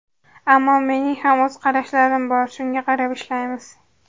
Ammo mening ham o‘z qarashlarim bor, shunga qarab ishlaymiz.